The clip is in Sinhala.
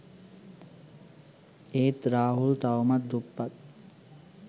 ඒත් රාහුල් තවමත් දුප්පත්